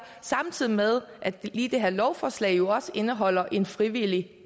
samtidig med at lige det her lovforslag jo også indeholder en frivillig